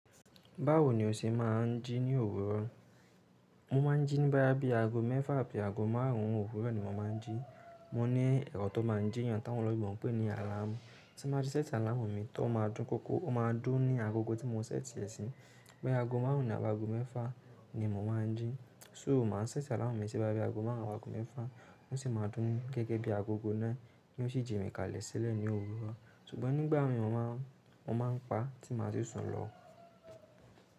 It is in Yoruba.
Báwo ni o ṣe máa ń jí ní òwúrọ̀? Mo máa ń jí ní boýá bí i aago mẹ́fà àbí aago márùn ún òwúrọ̀ ni mo máa ń jí. Mo ní ẹ̀rọ tó máa ń jí eeyàn táwọn oloyinbo n pé ní àláàmú. Tí mo bá ti ṣẹ́tì àláàmú mi tí ó máa dún kókó, ó máa dún ní agogo tí mo ṣẹ́tì ẹ́ sí. Boya aago márùn ún àbí aago mẹ́fà ni mo máa ń jí. So mo máa ń ṣẹ́tì àláàmú mi sí boýá aago márùn ún àbí aago mẹ́fà ó sì máa dún gẹ́gẹ́ bí agogo náà yi ó sì jí mi kalẹ̀ sílẹ̀ ní òwúrọ̀. Ṣùgbọ́n nígbà mi mo máà ń pa tí màá ti sùn lọ.